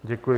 Děkuji.